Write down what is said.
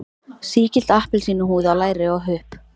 Sígild appelsínuhúð á læri og hupp.